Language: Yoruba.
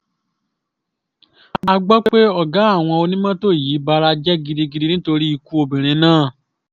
a gbọ́ pé ọ̀gá àwọn onímọ́tò yìí bara jẹ́ gidigidi nítorí ikú obìnrin náà